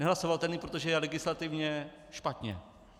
Nehlasovatelný, protože je legislativně špatně.